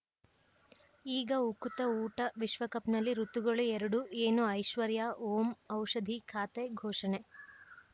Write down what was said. ಈಗ ಉಕುತ ಊಟ ವಿಶ್ವಕಪ್‌ನಲ್ಲಿ ಋತುಗಳು ಎರಡು ಏನು ಐಶ್ವರ್ಯಾ ಓಂ ಔಷಧಿ ಖಾತೆ ಘೋಷಣೆ